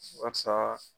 Barisa